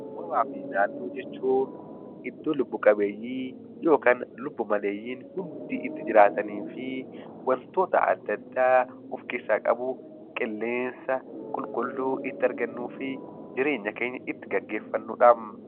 Uumamaa fi Naannoo jechuun iddoo lubbu qabeeyyiin yookaan lubbu maleeyyiin hundi itti jiraatanii fi wantoota adda addaa of keessaa qabu, qilleensa qulqulluu itti argannuu fi jireenya keenya itti geggeeffannu dhaam.